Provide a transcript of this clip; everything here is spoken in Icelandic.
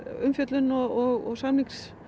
umfjöllun og samningsleysi